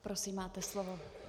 Prosím, máte slovo.